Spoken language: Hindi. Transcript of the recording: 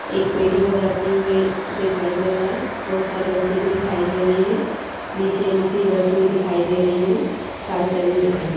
एक पेटी बजाते हुए दिखाई दे रहा है बहुत सारे बच्चे भी दिखाई दे रहे हैं नीचे मशीन रखी हुई दिखाई दे रही हैं टाइल्स लगी हुई दिखाई दे रही--